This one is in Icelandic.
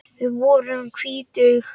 Við vorum tvítug.